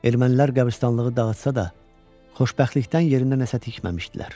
Ermənilər qəbirstanlığı dağıtsa da, xoşbəxtlikdən yerinə nəsə tikməmişdilər.